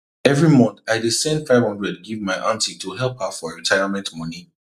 every month i dey send 500 give my aunty to help her for retirement money